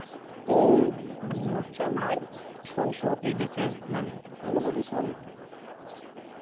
মানি মনে হচ্ছে ওরাই এই দেশের মানুষ।